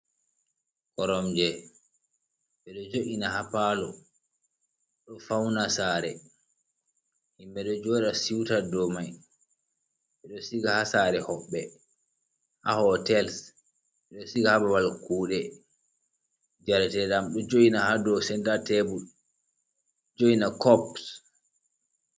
Koromje ɓe ɗo jo’ina haa paalo. Ɗo fawna saare, himɓe ɗo jooɗa siwta dow may, ɓe ɗo siga haa saare hoɓɓe, haa hotel, ɓe ɗo siga haa babal kuuɗe, jarateeɗam ɗo jo''ina haa dow senta tebur, joina kops.